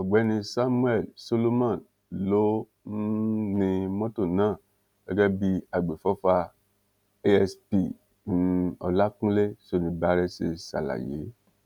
ọgbẹni samuel solomon ló um ni mọtò náà gẹgẹ bí àgbéfọfà aspir um ọlákúnlẹ shonibarè ṣe ṣàlàyé